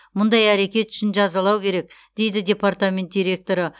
мұндай әрекет үшін жазалау керек дейді департамент директоры